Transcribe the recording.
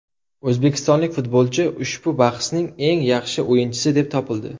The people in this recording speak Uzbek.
O‘zbekistonlik futbolchi ushbu bahsning eng yaxshi o‘yinchisi deb topildi.